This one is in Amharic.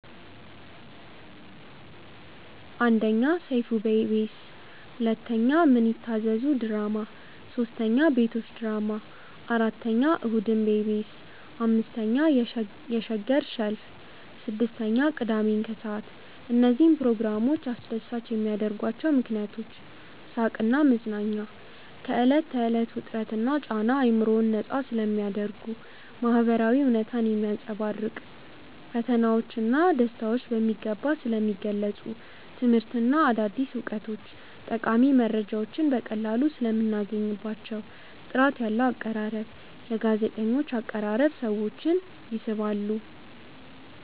1. ሰይፉ በኢቢኤስ 2. ምን ይታዘዙ ድራማ 3. ቤቶች ድራማ 4. እሁድን በኢቢኤስ 5. የሸገር ሸልፍ 6. ቅዳሜን ከሰዓት እነዚህን ፕሮግራሞች አስደሳች የሚያደርጓቸው ምክንያቶች፦ . ሳቅና መዝናኛ፦ ከዕለት ተዕለት ውጥረትና ጫና አእምሮን ነፃ ስለሚያደርጉ። . ማህበራዊ እውነታን ማንፀባረቅ፦ ፈተናዎች ና ደስታዎች በሚገባ ስለሚገልፁ። . ትምህርትና አዲስ እውቀት፦ ጠቃሚ መረጃዎችን በቀላሉ ሰለምናገኝባቸው። . ጥራት ያለው አቀራረብ፦ የጋዜጠኞች አቀራረብ ሰዎችን ይስባል።